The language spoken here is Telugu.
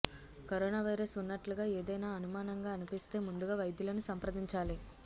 కరోనా వైరస్ ఉన్నట్లుగా ఏదైనా అనుమానంగా అనిపిస్తే ముందుగా వైద్యులను సంప్రదించాలి